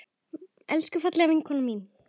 Elsku fallega vinkona mín.